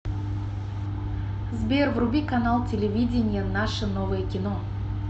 сбер вруби канал телевидения наше новое кино